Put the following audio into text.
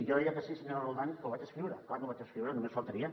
jo deia que sí senyora roldán que ho vaig escriure clar que ho vaig escriure només faltaria